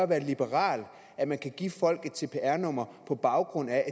være liberal at man kan give folk et cpr nummer på baggrund af at